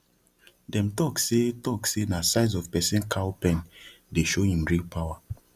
dem talk say talk say na size of person cow pen dey show him real power